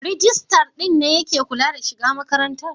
Rijistar din ne ya ke kula da shiga makarantar?